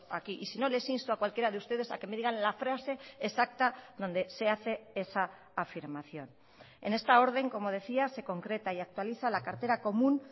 aquí y si no les insto a cualquiera de ustedes a que me digan la frase exacta donde se hace esa afirmación en esta orden como decía se concreta y actualiza la cartera común